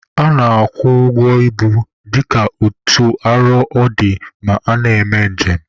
A na-akwụ ụgwọ ibu dịka otu arọ ọ dị ma a na-eme njem